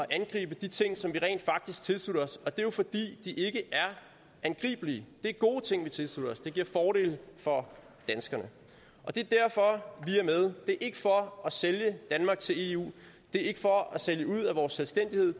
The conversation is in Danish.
angribe de ting som vi rent faktisk tilslutter os og det er jo fordi de ikke er angribelige det er gode ting vi tilslutter os det giver fordele for danskerne og det er derfor vi er med det er ikke for at sælge danmark til eu det er ikke for at sælge ud af vores selvstændighed